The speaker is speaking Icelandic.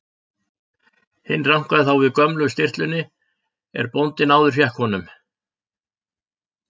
Hinn rankaði þá við gömlu stirtlunni er bóndi áður fékk honum.